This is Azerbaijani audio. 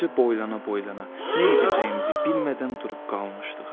Eləcə boylana-boylana nə edəcəyimizi bilmədən durub qalmışdıq.